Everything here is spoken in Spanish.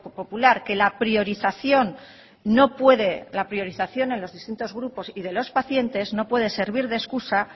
popular que la priorización no puede la priorización en los distintos grupos y de los pacientes no puede servir de excusa